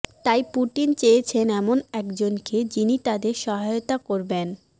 তাই পুটিন চেয়েছেন এমন একজনকে যিনি তাদের সহায়তা করবেন